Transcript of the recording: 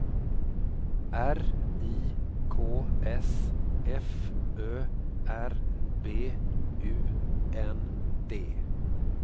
R I K S F Ö R B U N D